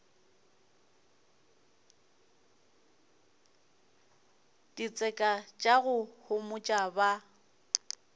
ditseka tša go homotša ba